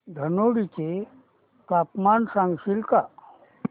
धनोडी चे तापमान सांगशील का